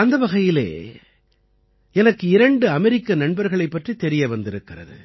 அந்த வகையில் எனக்கு இரண்டு அமெரிக்க நண்பர்களைப் பற்றித் தெரிய வந்திருக்கிறது